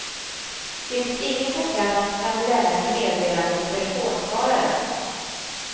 Finns ingen på plats kan du lämna ett meddelande på telefonsvararen.